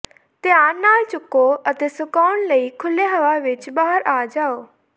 ਧਿਆਨ ਨਾਲ ਚੁੱਕੋ ਅਤੇ ਸੁਕਾਉਣ ਲਈ ਖੁੱਲ੍ਹੇ ਹਵਾ ਵਿਚ ਬਾਹਰ ਆ ਜਾਓ